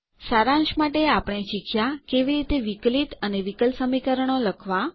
સારાંશ માટે આપણે શીખ્યાં કેવી રીતે વિકલિત અને વિકલ સમીકરણો લખવાં